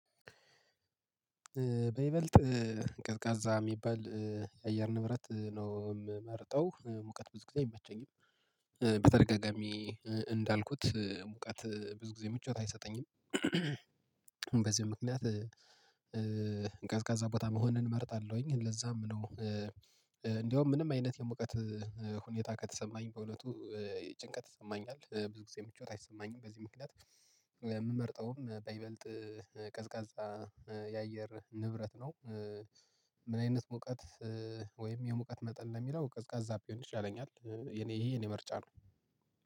በይበልጥ ቀዝቃዛ የሚባል አየር ንብረት ነው የምመርጠው ሙቀት ብዙ ጊዜ አይመቸኝም በተደጋጋሚ እንዳልኩት ሙቀት ብዙ ጊዜ ምቾት አይሰጠኝም። በዚህ ምክንያት ቀዝቃዛ ቦታ መሆንን እመርጣለሁኝ ለዛም ነው። እንደውም ምንም አይነት የመቀት ሁኔታ ከተሰማኝ በእውነቱ ጭንቀት ይሰማኛል ብዙ ጊዜ ምቾት አይሰማኝም በዚህ ምክንያት። የምመርጠውም በይበልጥ ቀዝቃዛ የአየር ንብረት ነው። ምን አይነት ሙቀት ወይም የሙቀት መጠን ለሚለው ቀዝቃዛ ቢሆን ይሻለኛል። ይሄ የኔ ምርጫ ነው።